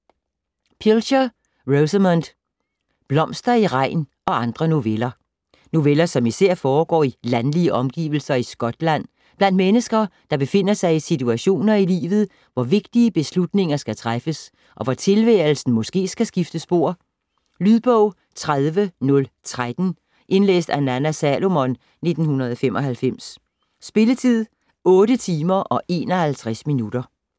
Pilcher, Rosamunde: Blomster i regn og andre noveller Noveller som især foregår i landlige omgivelser i Skotland, blandt mennesker, der befinder sig i situationer i livet, hvor vigtige beslutninger skal træffes, og hvor tilværelsen måske skal skifte spor. Lydbog 30013 Indlæst af Nanna Salomon, 1995. Spilletid: 8 timer, 51 minutter.